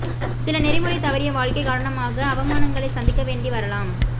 சில நெறிமுறை தவறிய வாழ்க்கை காரணமாக அவமானங்களை சந்திக்க வேண்டி வரலாம்